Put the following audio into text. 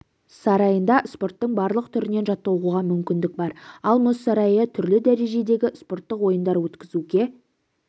сарайында спорттың барлық түрінен жаттығуға мүмкіндік бар ал мұз сарайы түрлі дәрежедегі спорттық ойындар өткізуге